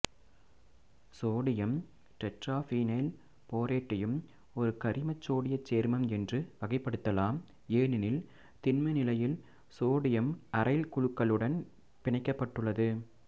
sodium tetraphenyl போரேட்டையும் ஒரு கரிமசோடியச் சேர்மம் என்று வகைப்படுத்தலாம் ஏனெனில் திண்ம நிலையில் சோடியம் அரைல் குழுக்களுடன் பிணைக்கப்பட்டுள்ளது